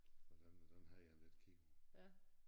Men den her den har jeg lidt kigget på